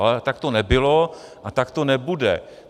Ale tak to nebylo a tak to nebude.